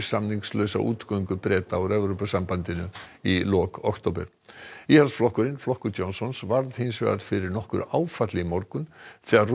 samningslausa útgöngu Breta úr Evrópusambandinu í lok október íhaldsflokkurinn flokkur Johnsons varð hins vegar fyrir nokkru áfalli í morgun þegar